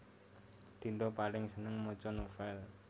Dinda paling seneng maca novèl